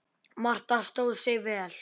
Marta stóð sig vel.